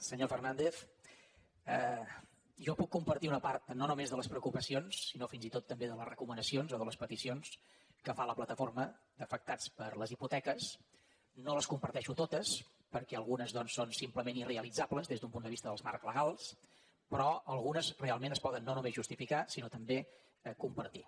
senyor fernàndez jo puc compartir una part no només de les preocupacions sinó fins i tot també de les recomanacions o de les peticions que fa la plataforma d’afectats per la hipoteca no les comparteixo totes perquè algunes doncs són simplement irrealitzables des d’un punt de vista dels marcs legals però algunes es poden realment no només justificar sinó també compartir